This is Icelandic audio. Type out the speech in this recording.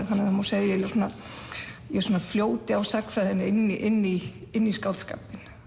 þannig að það má segja að ég fljóti á sagnfræðinni inn í inn í inn í skáldskapinn